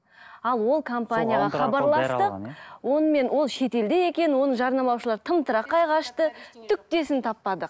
ал ол компанияға хабарластық онымен ол шетелде екен оны жарнамалаушылар тымтырақай қашты таппадық